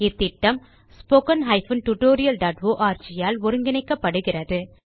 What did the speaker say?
இந்த திட்டம் httpspoken tutorialorg ஆல் ஒருங்கிணைக்கப்படுகிறது